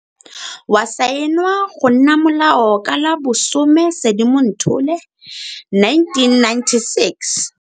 Wa saenwa go nna molao ka la 10 Sedimonthole 1996.